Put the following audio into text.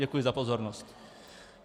Děkuji za pozornost.